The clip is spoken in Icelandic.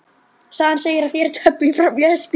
Sagan segir að þeir tefli fram lesbísk